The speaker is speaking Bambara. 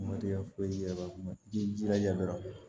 Matigi ya foyi yɛrɛ kuma i jilaja dɔrɔn